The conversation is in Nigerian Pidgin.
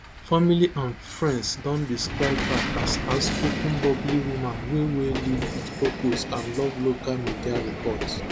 family and friends don describe her as outspoken bubbly woman wey wey live wit purpose and love local media report